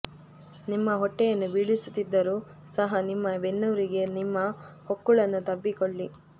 ನಿಮ್ಮ ಹೊಟ್ಟೆಯನ್ನು ಬೀಳಿಸುತ್ತಿದ್ದರೂ ಸಹ ನಿಮ್ಮ ಬೆನ್ನುಹುರಿಗೆ ನಿಮ್ಮ ಹೊಕ್ಕುಳನ್ನು ತಬ್ಬಿಕೊಳ್ಳಿ